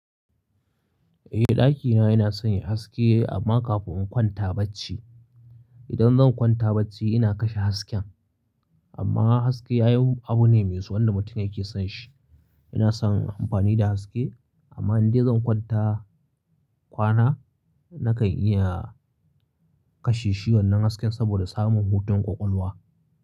Eh, ɗakina yana son yi haske amma kafin in kwanta bacci. Idan zan kwanta bacci ina kashe hasken. Amma haske ai abu ne mai so wanda mutum yake son shi. Ina son amfani da haske amma indai zan kwanta kwana nakan iya kashe shi wannan hasken saboda samun hutun ƙwaƙwalwa.